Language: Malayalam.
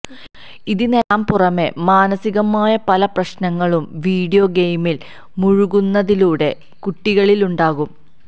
ഇതിനെല്ലാം പുറമെ മാനസികമായ പല പ്രശ്നങ്ങളും വീഡിയോ ഗെയിമില് മുഴുകുന്നതിലൂടെ കുട്ടികളിലുണ്ടാകും